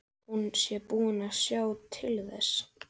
Hún sé búin að sjá til þess.